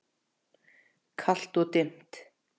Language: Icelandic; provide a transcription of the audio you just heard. Kalt og dimmt.